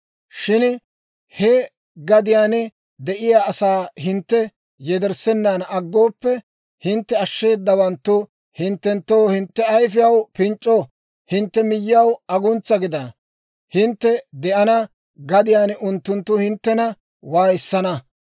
« ‹Shin he gadiyaan de'iyaa asaa hintte yederssenan aggooppe, hintte ashsheedawanttu hinttenttoo hintte ayifiyaw pinc'c'o, hintte miyyiyaw aguntsa gidana; hintte de'ana gadiyaan unttunttu hinttena waayissana.